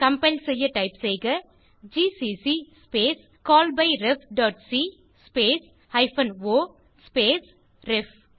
compile செய்ய type செய்க GCC space call by ref dot C space hyphen O space ref